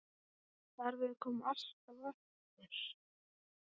Starfið kom alltaf á eftir.